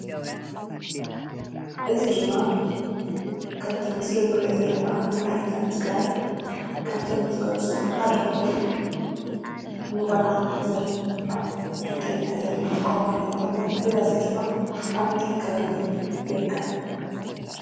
እዚ ድማ ከምቲ ኣብ ምሰሊ እንርእዮ ዘለና ንባህልታት ትግራይ ካብቶም ዝገልፁ ሓደ ኮይኑ ንቆልዓ መሕዘሊ ንሕንጠይ መሕዘሊ እንጥቀመሉ ኮይኑ ብበዝሒ ድማ ኣብ ምንታይ ከባቢ ይርከብ?